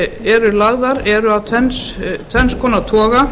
eru lagðar til eru af tvennum toga